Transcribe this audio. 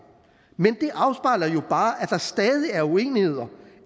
men det afspejler jo bare at der stadig er uenigheder